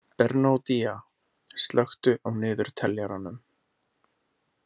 Bernódía, slökktu á niðurteljaranum.